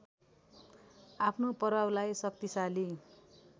आफ्नो प्रभावलाई शक्तिसाली